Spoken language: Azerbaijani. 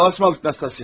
Hadi sağlıq Nastasya.